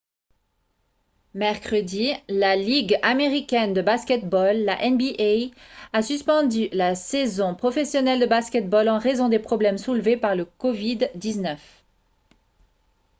mercredi la ligue américaine de basket-ball la nba a suspendu la saison professionnelle de basket-ball en raison des problèmes soulevés par la covid-19